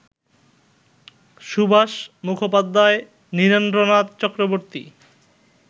Subhash Mukhopadhyay, Nirendranath Chakraborty